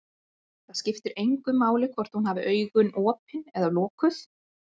Það skipti engu máli hvort hún hafði augun opin eða lokuð.